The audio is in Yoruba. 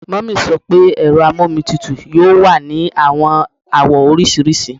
Mummy sọ pe ero amomitutu yoo wa ni awọn awọ oriṣiriṣi